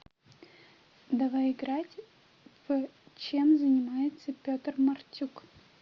давай играть в чем занимается петр мартюк